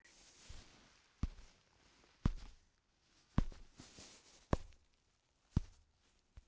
Ertu komin til að vera?